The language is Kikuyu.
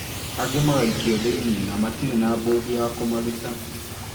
Angĩ magaikio thĩini na matirĩ na mbondi ya kũmaruta